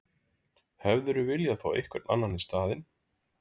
Hefðirðu vilja fá einhvern annan í staðinn?